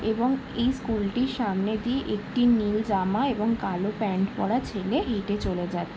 এবং এই স্কুল - টির সামনে দিয়ে একটি নীল জামা এবং কালো প্যান্ট